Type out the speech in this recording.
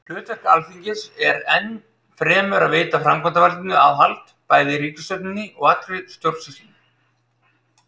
Hlutverk Alþingis er enn fremur að veita framkvæmdarvaldinu aðhald, bæði ríkisstjórninni og allri stjórnsýslunni.